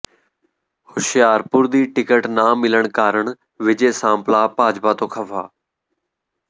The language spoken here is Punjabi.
ਹੁਸ਼ਿਆਰਪੁਰ ਦੀ ਟਿਕਟ ਨਾ ਮਿਲਣ ਕਾਰਨ ਵਿਜੇ ਸਾਂਪਲਾ ਭਾਜਪਾ ਤੋਂ ਖਫਾ